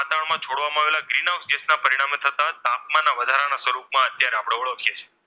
પ્રવર્તે છે.